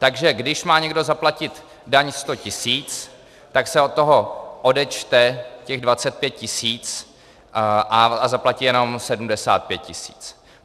Takže když má někdo zaplatit daň 100 tisíc, tak se od toho odečte těch 25 tisíc a zaplatí jenom 75 tisíc.